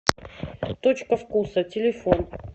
точка вкуса телефон